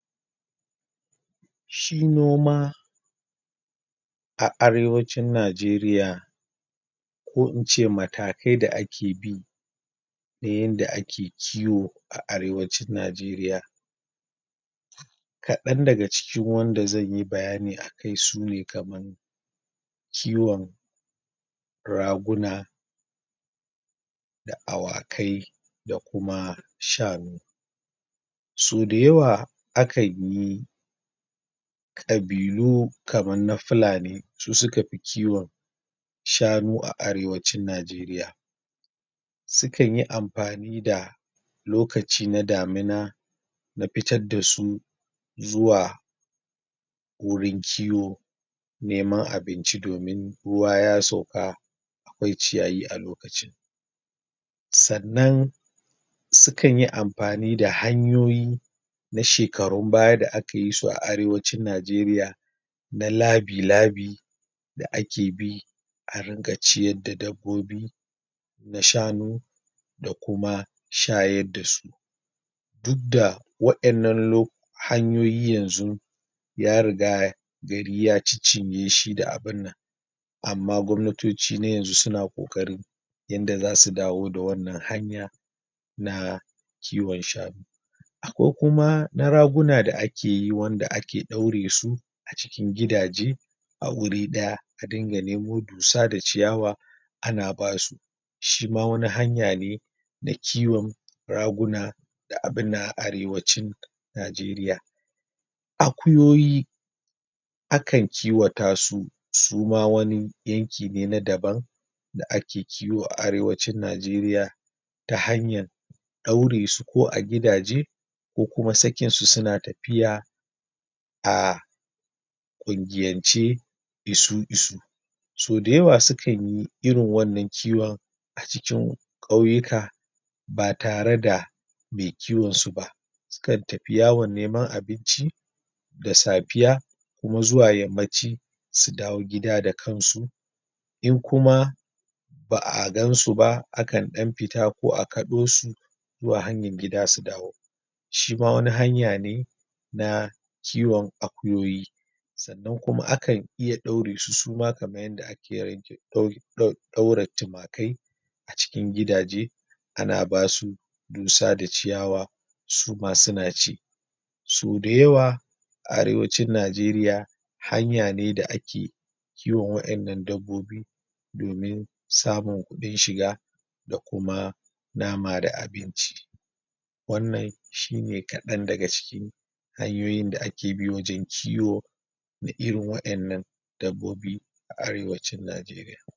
Shi noma a arewacin Nageriya ko ince matakai da ake bi ta yadda ake kiwo a arewacin najeriya kadan daga cikin wanda zan yi bayani akai su ne kamar kiwan raguna da awakai da kuma shanu so da yawa akanyi kabilu kaman na filani su sukafi kiwan shsnu a arewacin Nageriya sukanyi amfani da lokaci na damina na fitar da su zuwa wurin kiwo neman abinci domin ruwa ya sauka akwai ciyayi alokacin sannan sannan sukanyi amfani da hanyoyi na shekarun baya da aka yi su a arrewacin Najeriya na labi-labi da ake bi a ringa ciyar da dabbobi na shanu da kuma shayar da su duk da wa'yanan lo hanyoyi yanzu ya riga gari ya cin-cinye shi da abunnan amma Gwamnatoci na yanzu suna kokari yadda za su dawo da wannan hanya na kiwan shanu akwai kuma na raguna da akeyi iwanda ake daure su a cikin gidaje a wuri daya a dinga nemo dussa da ciyawa ana ba su shi ma wani hanya ne na kiwan raguna da abunna arewaci Nageriya Akuyoyi akan kiwata su suma wani yanki ne na daban da ake kiwo a arewacin Najeriya ta hanyar daure su ko a gidaje ko kuma sakin su suna tafiya aaa gungiyance isu-isu so da yawa sukanyi irin wannan kiwon a cikin kauyuka ba tare da mai kiwon su ba sukan tafi yawan neman abinci da safiya kuma zuwa yammaci su dawo gida da kansu in kuma ba a gansu ba a kan dan fita ko a kadosu zuwa hanyar gida su dawo shima wani hanya ne na kiwon akuyoyi sanan kuma akan iya daure su suma kaman yadda ake daddau daura tumakai a cikin gida je ana basu dusa da ciyawa suma suna ci soda yawa a arewacin Nageriya haya ne da ake kewan wa'yannan dabbobi domin samun kudin shiga da kuma nama da abinci wannan shi ne kadan daga ciki hanyoyin da ake bi wajan kiwo da irin wa'yannan dabbobi a arewacin Najeriya